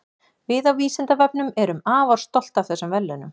Við á Vísindavefnum erum afar stolt af þessum verðlaunum.